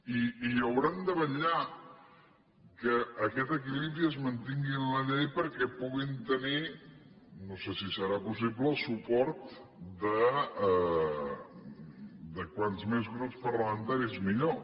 i hauran de vetllar que aquest equilibri es mantingui en la llei perquè puguin tenir no sé si serà possible suport de com més grups parlamentaris millor